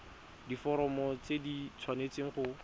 diforomo tse di tshwanesteng go